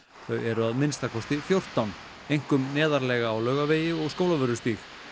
þau eru að minnsta kosti fjórtán einkum neðarlega á Laugavegi og Skólavörðustíg